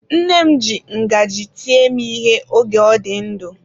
Nne m ji ngaji tie m ihe oge ọ dị ndụ.